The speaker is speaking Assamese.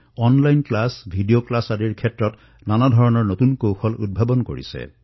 অনলাইন শ্ৰেণীকোঠা ভিডিঅ শ্ৰেণীকোঠা এইসমূহতো বিভিন্ন ধৰণৰ উদ্ভাৱন সংযোজিত কৰিছে